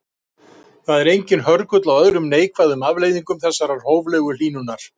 Það er enginn hörgull á öðrum neikvæðum afleiðingum þessarar hóflegu hlýnunar.